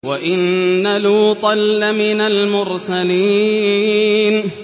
وَإِنَّ لُوطًا لَّمِنَ الْمُرْسَلِينَ